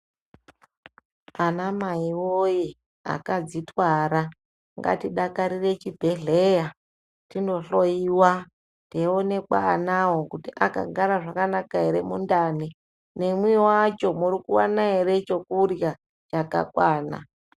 Anamai woye !akadzitwara ngatidakarire chibhehleya tinohloyiwa teionekwa anawo kuti akagara zvakanaka ere mundani nemwiwacho murikuwana ere chokurya chakakwana.